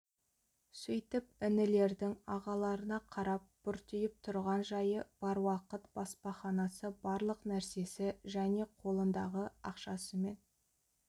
сөйтіп інілердің ағаларына қарап бұртиып тұрған жайы бар уақыт баспаханасы барлық нәрсесі және қолындағы ақшасымен